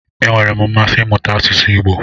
Enwere m mmasị imuta asụsụ Igbo.